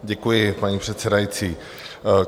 Děkuji, paní předsedající.